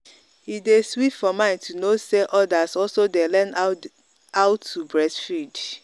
e day sweet for mind to know say others also day learn how how to breastfeed.